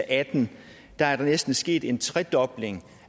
atten er der næsten sket en tredobling